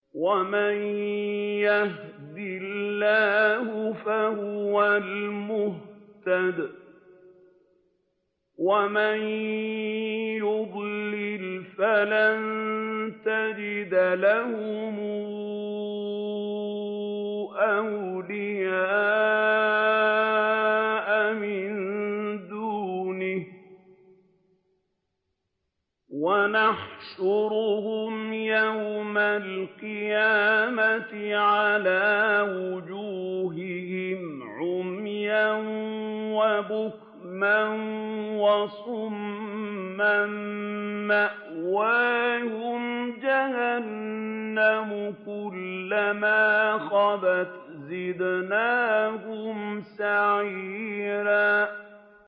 وَمَن يَهْدِ اللَّهُ فَهُوَ الْمُهْتَدِ ۖ وَمَن يُضْلِلْ فَلَن تَجِدَ لَهُمْ أَوْلِيَاءَ مِن دُونِهِ ۖ وَنَحْشُرُهُمْ يَوْمَ الْقِيَامَةِ عَلَىٰ وُجُوهِهِمْ عُمْيًا وَبُكْمًا وَصُمًّا ۖ مَّأْوَاهُمْ جَهَنَّمُ ۖ كُلَّمَا خَبَتْ زِدْنَاهُمْ سَعِيرًا